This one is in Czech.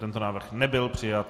Tento návrh nebyl přijat.